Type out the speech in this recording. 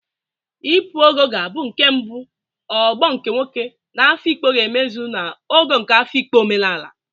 Ipu Ogo ga-abụ nke mbụ ogbo nke nwoke na Afikpo ga-emezu na Ogo nke Afikpo omenala